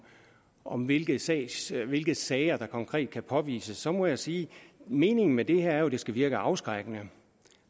om hvilke sager hvilke sager der konkret kan påvises så må jeg sige at meningen med det her jo er at det skal virke afskrækkende